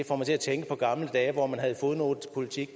får mig til at tænke på gamle dage hvor man havde fodnotepolitik